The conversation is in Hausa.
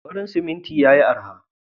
Farin siminti yayi araha.